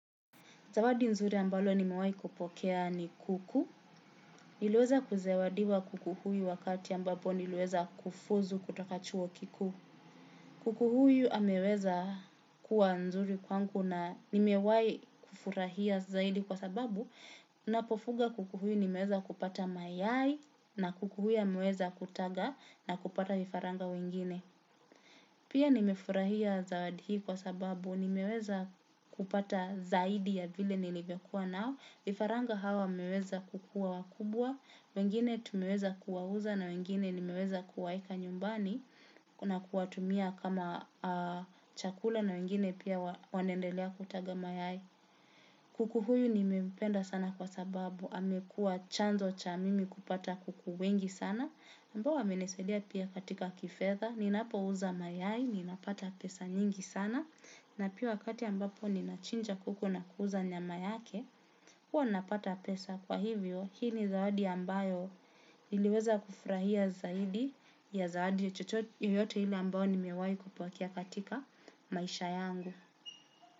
Zawadi nzuri ambalo nimewai kupokea ni kuku. Niliweza kuzawadiwa kuku huyu wakati ambapo niliweza kufuzu kutoka chuo kikuu. Kuku huyu ameweza kuwa nzuri kwangu na nimewai kufurahia zaidi kwa sababu. Napofuga kuku huyu nimeweza kupata mayai na kuku huyu ameweza kutaga na kupata vifaranga wengine. Pia nimefurahia zaidi hii kwa sababu nimeweza kupata zaidi ya vile nilivyokuwa nao. Vifaranga hawa wameweza kukuwa wakubwa, wengine tumeweza kuwauza na wengine nimeweza kuwaeka nyumbani na kuwatumia kama chakula na wengine pia wanaendelea kutaga mayai. Kuku huyu nimempenda sana kwa sababu, amekuwa chanzo cha mimi kupata kuku wengi sana. Ambao wamenisadia pia katika kifedha, ninapouza mayai, ninapata pesa nyingi sana, na pia wakati ambapo ninachinja kuku na kuuza nyama yake, huwa napata pesa kwa hivyo, hii ni zawadi ambayo niliweza kufurahia zaidi ya zawadi yoyote ile ambayo nimewai kupokea katika maisha yangu.